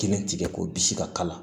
Kelen tigɛ ko bisi ka kala